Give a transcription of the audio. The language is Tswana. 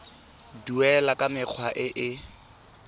duelwa ka mekgwa e e